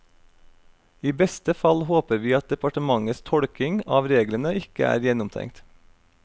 I beste fall håper vi at departementets tolkning av reglene ikke er gjennomtenkt.